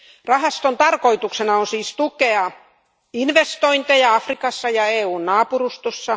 Rahaston tarkoituksena on siis tukea investointeja Afrikassa ja EUn naapurustossa.